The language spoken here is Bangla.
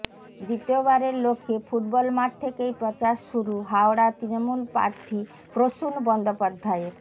দ্বিতীয়বারের লক্ষ্যে ফুটবল মাঠ থেকেই প্রচার শুরু হাওড়ার তৃণমূল প্রার্থী প্রসূন বন্দ্যোপাধ্যায়ের